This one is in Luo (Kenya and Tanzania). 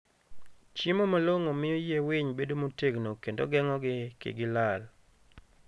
Chiemo malong'o miyo yie winy bedo motegno kendo geng'ogi kik gilal.